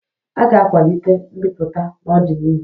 A ga-akwalite mbipụta n'ọdịnihu